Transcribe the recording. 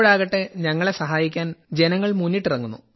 ഇപ്പോഴാകട്ടെ ഞങ്ങളെ സഹായിക്കുവാൻ ജനങ്ങൾ മുന്നിട്ടിറങ്ങുന്നു